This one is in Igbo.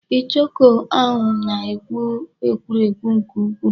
Ichoku ahụ na-ekwu ekwurekwu nke ukwuu.